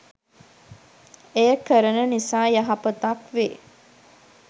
එය කරන නිසා යහපතක් වේ.